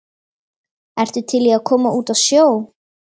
ertu til í að koma út á sjó?